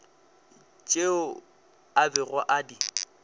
tšeo a bego a di